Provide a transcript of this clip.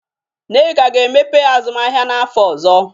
Nneka ga-emepe azụmahịa n'afọ ọzọ.